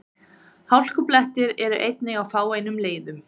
Hálkublettir eru einnig á fáeinum leiðum